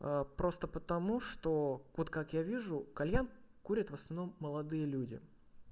а просто потому что вот как я вижу кальян курят в основном молодые люди